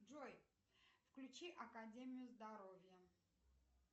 джой включи академию здоровья